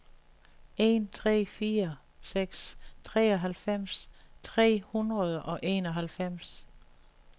en tre fire seks treoghalvfems tre hundrede og enoghalvfems